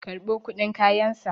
karɓo kudin kayansa!